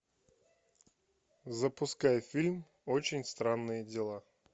запускай фильм очень странные дела